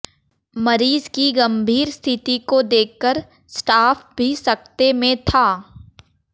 मरीज को गंभीर स्थिति को देखकर स्टाफ भी सकते में था